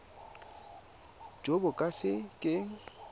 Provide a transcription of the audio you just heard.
jo bo ka se keng